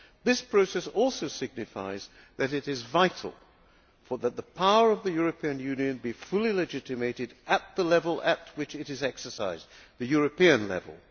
This process also signifies that it is vital that the power of the European Union be fully legitimated at the level at which it is exercised, the European level.